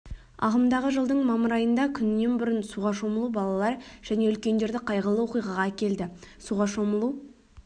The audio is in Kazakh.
ағымдағы жылдың мамыр айында күнінен бұрын суға шомылу балалар және үлкендерді қайғылы оқиғаға әкелді суға шомылу